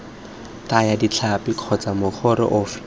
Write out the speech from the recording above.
thaya ditlhapi kgotsa mokoro ofe